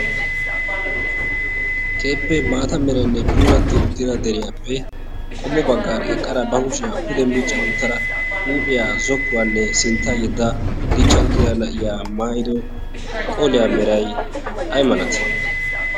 keeppe maata merainne puuratti uttida deriyaappe qommo baggaara eqqara bahushiyaa pude miicca uttara huuphiyaa zokkuwaanne sintta yedda dichcha uttida a7iya mairo qooliyaa merai ai malatii?